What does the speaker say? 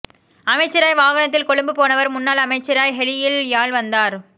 அமைச்சராய் வாகனத்தில் கொழும்பு போனவர் முன்னாள் அமைச்சராய் ஹெலியில் யாழ் வந்தார்